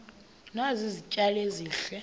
nazi izitya ezihle